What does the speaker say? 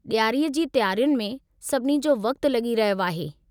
ॾियारीअ जी तयारियुनि में सभिनी जो वक़्तु लॻी रहियो आहे।